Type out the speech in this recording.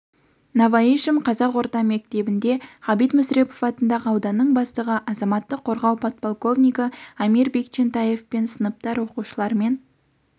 новоишим қазақ орта мектебінде ғабит мүсірепов атындағы ауданның бастығы азаматтық қорғау подполковнигі амир бекчентаевпен сыныптар оқушыларымен